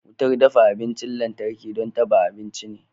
Wutar dafa abinchin lantarki don dafa abinci ne.